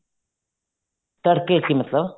ਤੜਕੇ ਚ ਹੀ ਮਤਲਬ